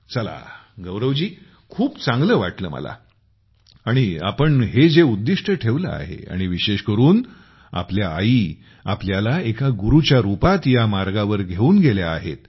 चला गौरव जी खूप चांगले वाटले मला आणि आपण हे जे उद्दिष्ट ठेवले आहे आणि विशेष करून आपल्या आई आपल्याला एका गुरूच्या रूपात ह्या मार्गावर घेऊन गेल्या आहेत